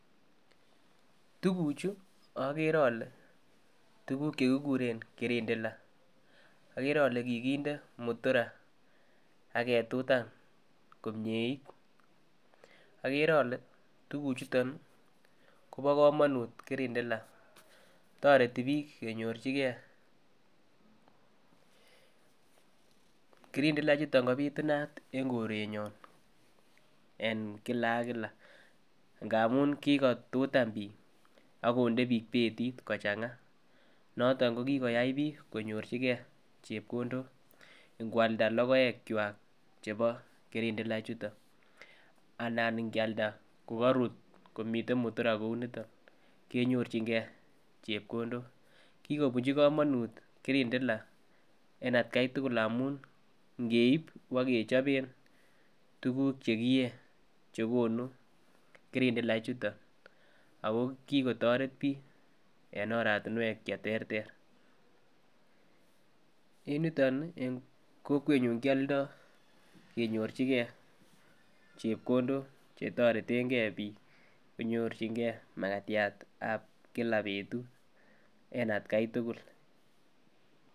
Tukuchu okere ole tukuk chekikure kirindila okere ole kikinde mutura ak ketutan komiet okere ole tukuk chuton Kobo komonut kirindila toreti bik kenyorchigee. Kirindila chuton kopitunat en korenyon en kila ak kila ngmun kikotutan bik ak konde bik betit kochanga noton ko kikoyai bik konyorchigee chepkondok inkwalda lokoek kwak chebo kirindila chutok anan ikialda kokorut komiten mutura kouniton kenyorchigee chepkondok. Kikobunchi komonut kirindila en atgai tukul amun inkeib bokechoben tukuk chekiyee chekonu kirindila chuton ako kikotoret bik en oratinwek cheterter, en yuton nii en kokwenyun kioldo ak kenyorchigee chepkondok chetoreten gee bik konyorchigee makatyat tab kila betut en atgai tukul.